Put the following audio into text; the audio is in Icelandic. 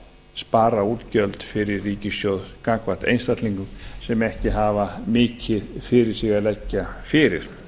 spara útgjöld fyrir ríkissjóð gagnvart einstaklingum sem ekki hafa mikið fyrir sig að leggja fyrir